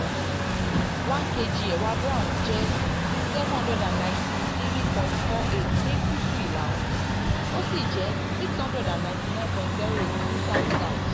1kg àwọn ewa brown jẹ́ n793.48 ní guusu ila-oorun ó sì jẹ́ n699.08 ní south-south.